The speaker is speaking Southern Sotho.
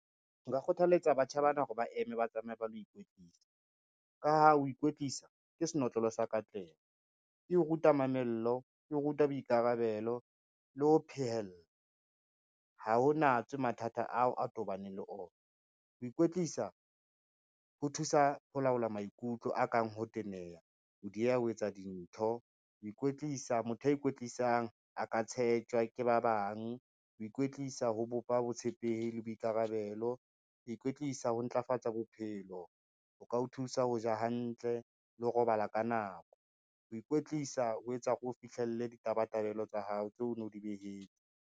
Nka kgothaletsa batjha bana hore ba eme ba tsamaye ba lo ikwetlisa, ka ho ikwetlisa ke senotlolo sa katleho. E o ruta mamello, e o ruta boikarabelo le ho phehella, ha ho natswe mathata ao a tobaneng le ona. Ho ikwetlisa ho thusa ho laola maikutlo a kang ho teneha, ho dieha ho etsa dintho, motho ya ikwetlisang a ka tshetjwa ke ba bang, ho ikwetlisa ho bopa botshepehi le boikarabelo, ho ikwetlisa, ho ntlafatsa bophelo. O ka o thusa ho ja hantle le ho robala ka nako, ho ikwetlisa ho etsa hore o fihlelle ditabatabelo tsa hao tseo no di behile.